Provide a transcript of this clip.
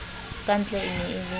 kantle e ne e le